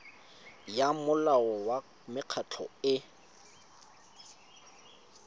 ya molao wa mekgatlho e